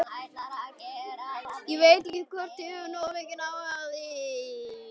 Ég veit ekki hvort ég hef nokkurn áhuga á því.